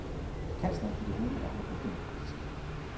Kansleren fik at vide, at han var udemokratisk.